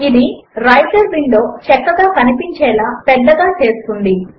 ఇది writer window చక్కగా కనిపించేలా పెద్దగా చేస్తుంది